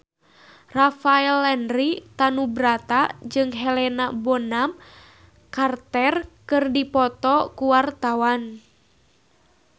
Rafael Landry Tanubrata jeung Helena Bonham Carter keur dipoto ku wartawan